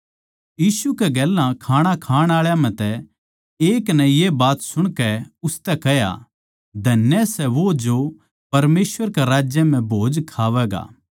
यीशु कै गेल्या खाणा खाण आळा म्ह तै एक नै ये बात सुणकै उसतै कह्या धन्य सै वो जो परमेसवर के राज्य म्ह भोज खावैगा